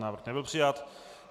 Návrh nebyl přijat.